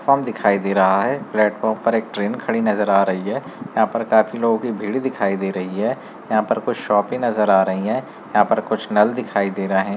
दिखाई दे रहा है प्लेटफार्म पर एक ट्रेन खड़ी नजर आ रही है यहां पर काफी लोगों की भीड़ दिखाई बहदे रही है यहां पर कुछ शॉप भी नजर आ रही है यहां पर कुछ नाल दिखाई दे रहे हैं।